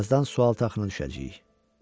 Birazdan sualtı axına düşəcəyik.